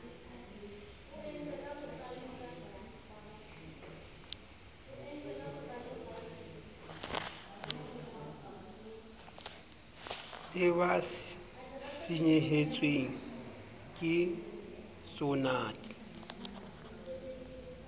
le ba senyehetsweng ke tsonad